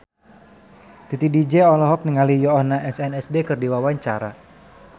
Titi DJ olohok ningali Yoona SNSD keur diwawancara